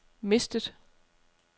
mistet